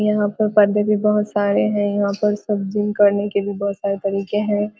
यहाँ पर पर्दे भी बहुत सारे हैं | यहाँ पर सब जिम करने के लिए बहुत सारे तरीके हैं |